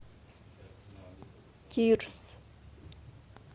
кирс